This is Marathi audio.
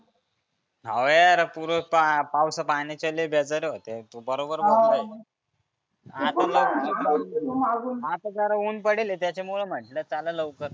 हाव यार पुरं पाय पावसा पाण्याचे लई बेजार होत्या तु बरोबर बोलला हे. आता आता जया उन पडेल हे त्याच्यामुळ म्हटलं चला लवकर.